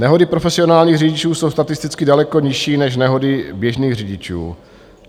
Nehody profesionálních řidičů jsou statisticky daleko nižší než nehody běžných řidičů.